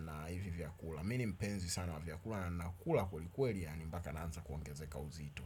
Na hivi vyakula. Mi ni mpenzi sana wa vyakula. Nakula kwelikweli yaani mpaka naanza kuongezeka uzito.